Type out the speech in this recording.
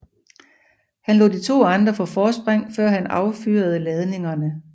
Han lod de to andre få forspring før han affyrede ladningene